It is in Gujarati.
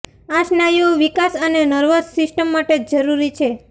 આ સ્નાયુઓ વિકાસ અને નર્વસ સિસ્ટમ માટે જરૂરી છે